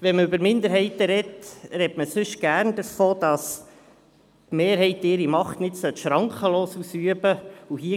Gerade dann, wenn man über Minderheiten spricht, sagt man gerne, dass die Mehrheit ihre Macht nicht schrankenlos ausüben sollte.